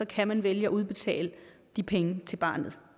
kan man vælge at udbetale de penge til barnet